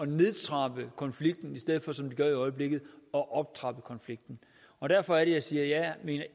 nedtrapper konflikten i stedet som de gør i øjeblikket at optrappe konflikten og derfor er det jeg siger at jeg